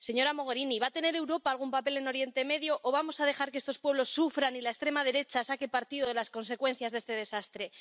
Señora Mogherini, ¿va a tener Europa algún papel en Oriente Medio o vamos a dejar que estos pueblos sufran y la extrema derecha saque partido de las consecuencias de este desastre?